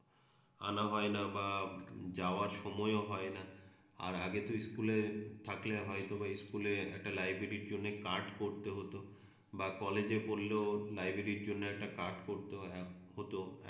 আনা হয়না বা যাওয়ার সময়ও হয়না আর আগে তো ইস্কুলে থাকলে হয়তোবা ইস্কুলে একটা লাইব্রেরির জন্যে কার্ড করতে হত বা কলেজে পড়লেও লাইব্রেরির জন্যে একটা কার্ড করতে হত